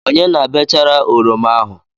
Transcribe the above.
Onye na-bechara oroma ahụ?